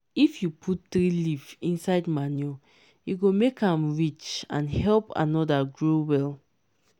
if you put tree leaf inside manure e go make am rich and help another grow well.